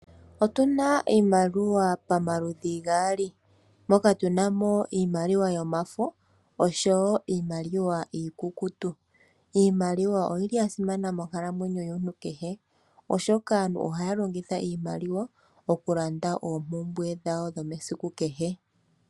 Otu na iimaliwa pamaludhi gaali. Moka tu na mo iimaliwa yomafo, osho wo iimaliwa iikukutu. Iimaliwa oyi li ya simana moonkalamwenyo yomuntu kehe, oshoka aantu ohaa longitha iimaliwa, oku landa oompumbwe dhawo dhomesiku kehe.